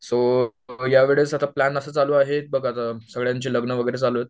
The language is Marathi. सो, या वेळेस आता प्लान असा चालू आहे, बघ आता सगळ्यांचे लग्न वगैरे चालू आहेत